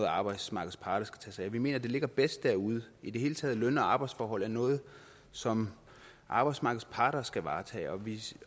arbejdsmarkedets parter skal tage sig vi mener at det ligger bedst derude i det hele taget er løn og arbejdsforhold noget som arbejdsmarkedets parter skal varetage og vi